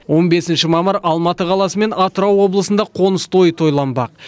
он бесінші мамыр алматы қаласы мен атырау облысында қоныс тойы тойланбақ